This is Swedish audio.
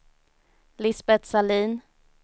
Lisbet Sahlin